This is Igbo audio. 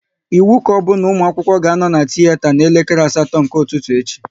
Ịwu kaobu na ụmụ akwụkwọ ga anọ na tiyeta na elekere asatọ nke ụtụtụ echi!